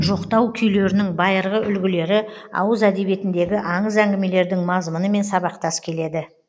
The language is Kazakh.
жоқтау күйлерінің байырғы үлгілері ауыз әдебиетіндегі аңыз әңгімелердің мазмұнымен сабақтас келеді